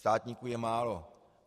Státníků je málo.